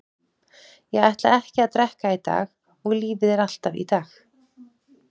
Ég ætla ekki að drekka í dag og lífið er alltaf í dag.